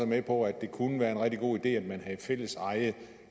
med på at det kunne være en rigtig god idé at have fælleseje